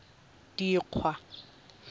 dikgwa